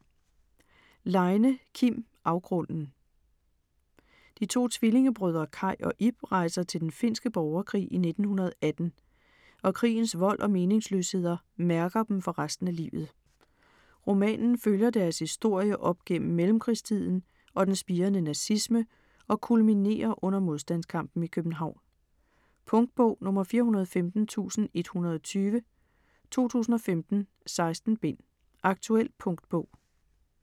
Leine, Kim: Afgrunden De to tvillingebrødre Kaj og Ib rejser til den finske borgerkrig i 1918, og krigens vold og meningsløsheder mærker dem for resten af livet. Romanen følger deres historie op gennem mellemkrigstiden og den spirende nazisme og kulminerer under modstandskampen i København. Punktbog 415120 2015. 16 bind. Aktuel punktbog